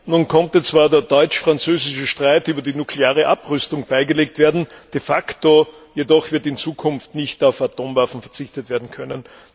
Nun konnte zwar der deutsch französische Streit über die nukleare Abrüstung beigelegt werden, de facto jedoch wird in Zukunft nicht auf Atomwaffen verzichtet werden können.